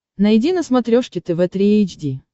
найди на смотрешке тв три эйч ди